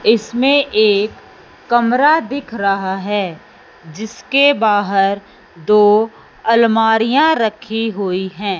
इसमें एक कमरा दिख रहा है जिसके बाहर दो अलमारियां रखी हुई हैं।